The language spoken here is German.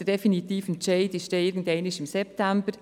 Der definitive Entscheid fällt irgendwann im September.